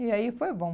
E aí foi bom.